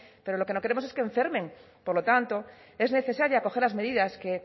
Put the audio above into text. pero lo que no queremos es que enfermen por lo tanto es necesaria acoger las medidas que